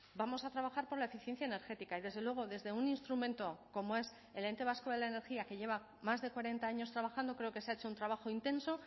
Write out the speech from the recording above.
vamos a trabajar por la eficiencia energética y desde luego desde un instrumento como es el ente vasco de la energía que lleva más de cuarenta años trabajando creo que se ha hecho un trabajo intenso